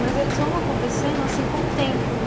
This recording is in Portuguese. Mas eles vão acontecendo, assim, com o tempo.